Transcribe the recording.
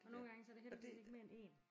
Og nogen gange så er det heldigvis ikke mere end én